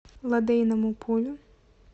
лодейному полю